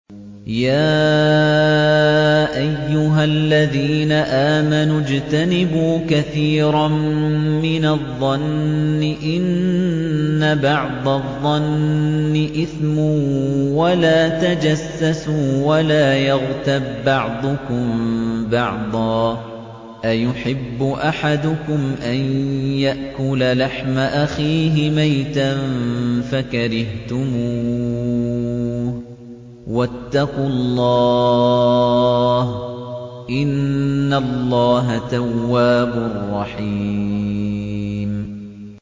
يَا أَيُّهَا الَّذِينَ آمَنُوا اجْتَنِبُوا كَثِيرًا مِّنَ الظَّنِّ إِنَّ بَعْضَ الظَّنِّ إِثْمٌ ۖ وَلَا تَجَسَّسُوا وَلَا يَغْتَب بَّعْضُكُم بَعْضًا ۚ أَيُحِبُّ أَحَدُكُمْ أَن يَأْكُلَ لَحْمَ أَخِيهِ مَيْتًا فَكَرِهْتُمُوهُ ۚ وَاتَّقُوا اللَّهَ ۚ إِنَّ اللَّهَ تَوَّابٌ رَّحِيمٌ